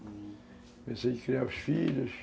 Comecei a criar os filhos.